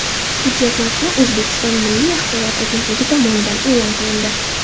Hujjat matni O‘zbekiston Milliy axborot agentligi tomonidan e’lon qilindi .